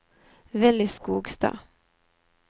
Villy Skogstad